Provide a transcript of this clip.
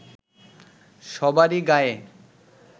সবারই গায়ে